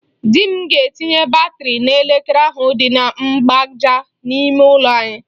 Di m ga-etinye batịrị n'elekere ahụ dị na mgbaaja n'ime ụlọ anyị.